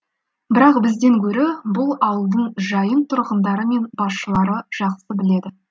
бірақ бізден гөрі бұл ауылдың жайын тұрғындары мен басшылары жақсы біледі